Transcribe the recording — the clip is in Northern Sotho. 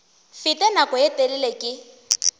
fete nako ye telele ke